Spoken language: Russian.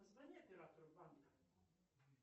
позвони оператору банка